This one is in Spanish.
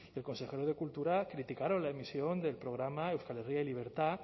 el consejero de cultura criticaron la emisión del programa euskal herria y libertad